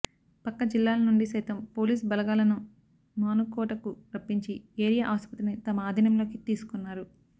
పక్క జిల్లాల నుండి సైతం పోలీస్ బలగాలను మానుకోటకు రప్పించి ఏరియా ఆసుపత్రిని తమ ఆధీనంలోకి తీసుకున్నారు